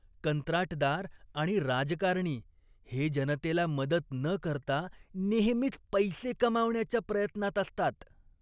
कंत्राटदार आणि राजकारणी हे जनतेला मदत न करता नेहमीच पैसे कमावण्याच्या प्रयत्नात असतात.